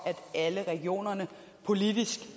at alle regioner politisk